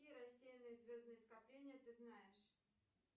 какие рассеянные звездные скопления ты знаешь